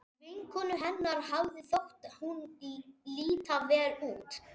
Vinkonu hennar hafði þótt hún líta vel út.